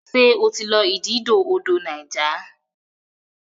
ṣe o tí lọ ididò odò Niger?